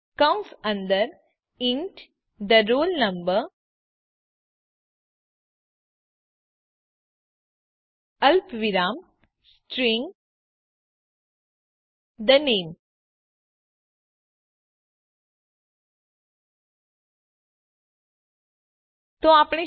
કૌંસ અંદર int the roll number અલ્પવિરામ સ્ટ્રીંગ the name